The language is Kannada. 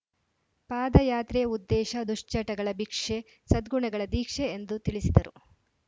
ಪಾದಯಾತ್ರೆ ಉದ್ದೇಶ ದುಶ್ಚಟಗಳ ಬಿಕ್ಷೆ ಸದ್ಗುಣಗಳ ದೀಕ್ಷೆ ಎಂದು ತಿಳಿಸಿದರು